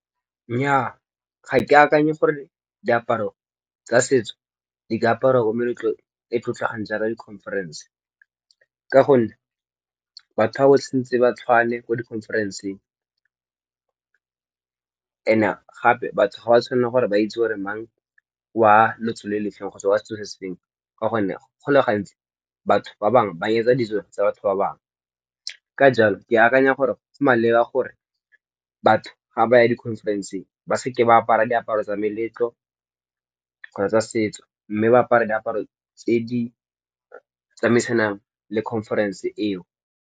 Nnyaa ga ke akanye gore diaparo tsa setso di ka aparwa ko meletlong e tlotlegang jaaka di conference, ka gonne batho ba ba santse ba tshwane ko di conference-ng and gape batho ga ba tshwanela gore ba itse gore mang wa lotso lefeng kgotsa wa setso ka gonne go le gantsi batho ba bangwe ba yetsa ditso tsa batho ba bangwe ka jalo ke akanya gore maleba gore batho ga ba ya di conference-ng ba seke ba apara diaparo tsa meletlo kgotsa tsa setso, mme ba apara diaparo tse di tsamaisanang le conference-ng eo.